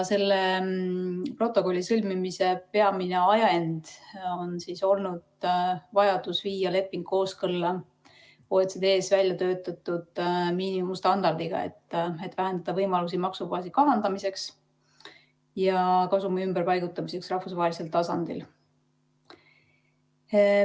Selle protokolli sõlmimise peamine ajend on olnud vajadus viia leping kooskõlla OECD-s väljatöötatud miinimumstandardiga, et vähendada võimalusi maksubaasi kahandamiseks ja kasumi ümberpaigutamiseks rahvusvahelisel tasandil.